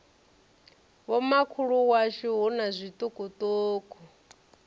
vhomakhulu washu hu na zwiṱukuṱuku